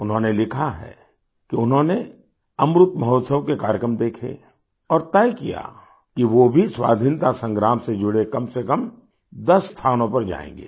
उन्होंने लिखा है कि उन्होंने अमृत महोत्सव के कार्यक्रम देखे और तय किया कि वो भी स्वाधीनता संग्राम से जुड़े कमसेकम 10 स्थानों पर जाएंगे